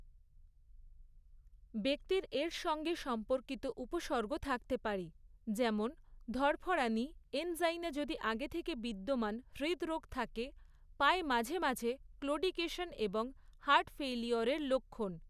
ব্যক্তির এর সঙ্গে সম্পর্কিত উপসর্গ থাকতে পারে, যেমন ধড়ফড়ানি, এনজাইনা যদি আগে থেকে বিদ্যমান হৃদরোগ থাকে, পায়ে মাঝে মাঝে ক্লোডিকেশন এবং হার্ট ফেইলিউরের লক্ষণ।